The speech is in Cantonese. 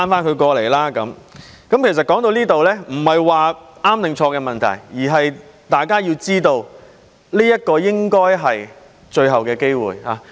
說到這裏，其實已不是對與錯的問題，而是大家都知道這應是最後機會。